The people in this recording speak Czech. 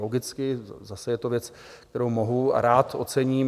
Logicky, zase je to věc, kterou mohu a rád ocením.